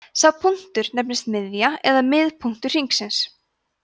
sá punktur nefnist miðja eða miðpunktur hringsins